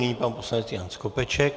Nyní pan poslanec Jan Skopeček.